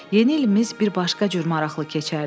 Yeni ilimiz bir başqa cür maraqlı keçərdi.